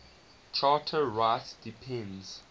charter rights depend